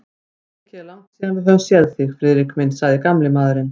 Mikið er langt síðan við höfum séð þig, Friðrik minn sagði gamli maðurinn.